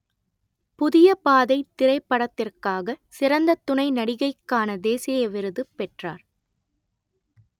புதிய பாதை திரைப்படத்திற்காக சிறந்த துணை நடிகைக்கான தேசிய விருது பெற்றார்